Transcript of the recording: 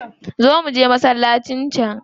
Zo muje masallaci can.